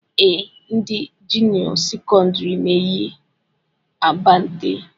Ee, ndị junịọ sekọndịrị na-eyi abante